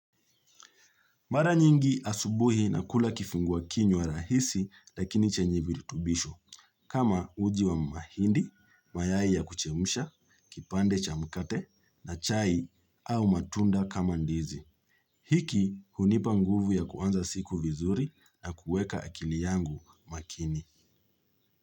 Mara nyingi asubuhi nakula kifungua kinywa rahisi lakini chenye viritubisho kama uji wa mahindi, mayai ya kuchemsha, kipande cha mkate na chai au matunda kama ndizi. Hiki hunipa nguvu ya kuanza siku vizuri na kueka akili yangu makini.